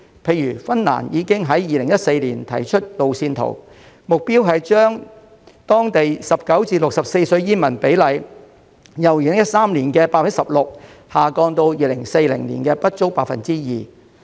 例如芬蘭已於2014年提出路線圖，目標是把當地15至64歲的煙民比例，由2013年的 16% 下降至2040年的不足 2%。